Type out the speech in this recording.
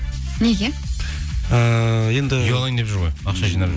неге ііі енді үй алайын деп жүр ғой ақша жинап жүр